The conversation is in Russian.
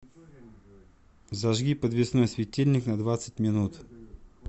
зажги подвесной светильник на двадцать минут